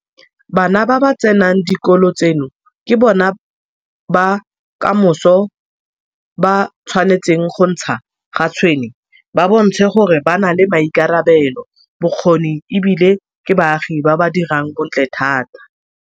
Bana ba ba tsenang dikolo tseno ke bona ba kamoso ba tshwanetseng go ntsha ga tshwene ba bontshe gore ba na le maikarabelo, bokgoni e bile ke baagi ba ba dirang bontle thata.